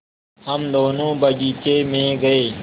हम दोनो बगीचे मे गये